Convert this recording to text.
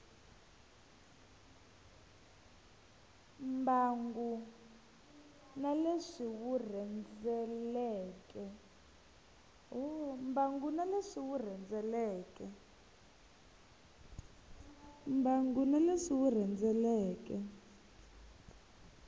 mbangu na leswi wu rhendzeleke